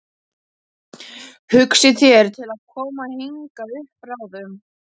Hugsið þér til að koma hingað upp bráðum?